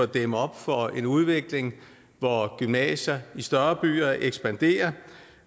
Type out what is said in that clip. dæmme op for en udvikling hvor gymnasier i større byer ekspanderer